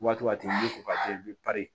Waati ko ka bi